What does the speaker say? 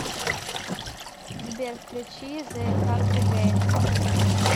сбер включи зе кардигейнс